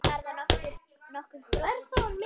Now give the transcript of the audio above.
Er þetta nokkuð gróft stykki?